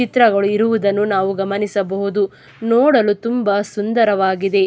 ಚಿತ್ರಗಳು ಇರುವುದನ್ನು ನಾವು ಗಮನಿಸಬಹುದು ನೋಡಲು ತುಂಬಾ ಸುಂದರವಾಗಿದೆ.